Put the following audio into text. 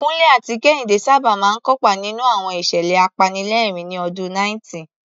Kunle àti Kehinde sábà máa ń kópa nínú àwọn ìṣẹ̀lẹ̀ apanilẹ́rìn-ín ní ọdún 90.